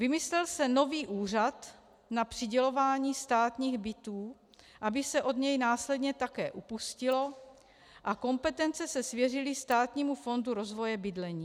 Vymyslel se nový úřad na přidělování státních bytů, aby se od něj následně také upustilo, a kompetence se svěřily Státnímu fondu rozvoje bydlení.